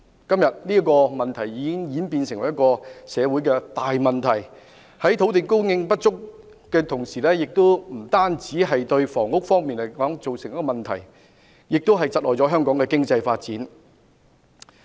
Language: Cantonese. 今天，這個問題已演變成社會大問題，土地供應不足不單會對房屋供應造成問題，同時亦會窒礙香港經濟發展。